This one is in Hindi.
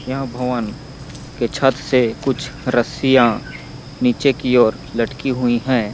यह भवन के छत से कुछ रस्सियां नीचे की ओर लटकी हुई है।